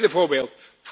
Een tweede voorbeeld.